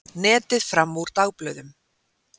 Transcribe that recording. Netið fram úr dagblöðum